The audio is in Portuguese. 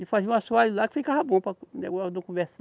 E fazia um assoalho lá que ficava bom para.